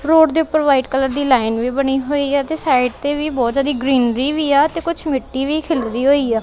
Road ਦੇ ਉੱਪਰ white colour ਦੀ ਲਾਈਨ ਵੀ ਬਣੀ ਹੋਈ ਹੈ ਤੇ ਸਾਈਡ ਤੇ ਵੀ ਬਹੁਤ ਜਿਆਦਾ ਗ੍ਰੀਨਰੀ ਵੀ ਆ ਤੇ ਕੁਝ ਮਿੱਟੀ ਵੀ ਖਿਲਰੀ ਹੋਈ ਆ।